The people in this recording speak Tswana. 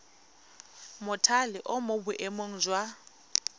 mothale o mo boemong jwa